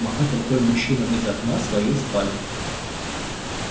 махать рукой мужчинам из окна своей спальни